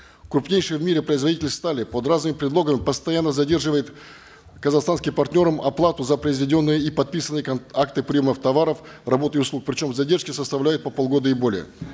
крупнейший в мире производитель стали под разными предлогами постоянно задерживает казахстанским партнерам оплату за произведенные и подписанные акты приемов товаров работ и услуг причем задержки составляют по полгода и более